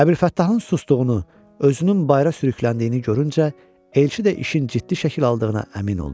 Əbülfəttahın susduğunu, özünün bayıra sürükləndiyini görüncə elçi də işin ciddi şəkil aldığını əmin oldu.